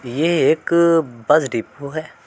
ये एक अ बस डिपो है।